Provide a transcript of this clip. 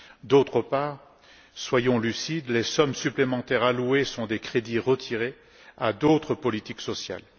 D'autre part soyons lucides les sommes supplémentaires allouées sont des crédits retirés à d'autres politiques sociales.